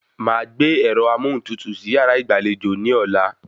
Màá gbé ẹ̀rọ amóhuntutù sí yàrá ìgbàlejò ní ọ̀la